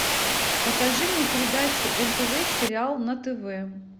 покажи мне передачу нтв сериал на тв